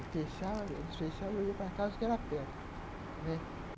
E fechava, eles fechavam e eu ia para casa que era perto.